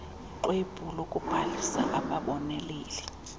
ixwebhu lokubhalisa ababoneleli